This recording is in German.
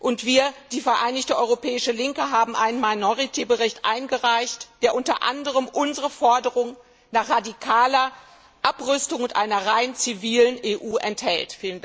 Und wir die Vereinigte europäische Linke haben eine Minderheitenansicht eingereicht, die unter anderem unsere Forderung nach radikaler Abrüstung und einer rein zivilen EU enthält.